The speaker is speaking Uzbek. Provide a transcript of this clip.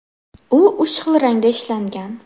U uch xil rangda ishlangan.